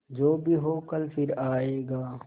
जो भी हो कल फिर आएगा